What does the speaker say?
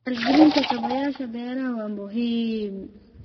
Maalgelinta kaabayaasha beeraha waa muhiim.